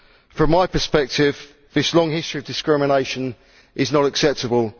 From my perspective, this long history of discrimination is not acceptable.